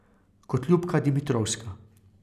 Kot Ljubka Dimitrovska.